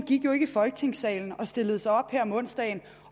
gik jo ikke i folketingssalen og stillede sig op her om onsdagen